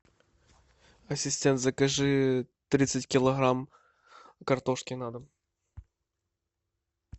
ассистент закажи тридцать килограмм картошки на дом